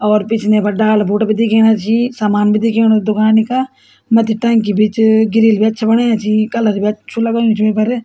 और पिछने बटे डाला बोट भी दिखेणा छी और सामन भी दिखेणु दुकानी का मथी टंकी भी च ग्रिल भी अच्छा बणाया छी कलर भी अच्छू लगयुं च वेपर।